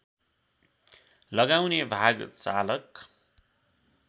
लगाउने भाग चालक